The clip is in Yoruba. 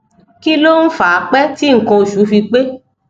kí ló ń fa pẹ tí nkan oṣù fi pe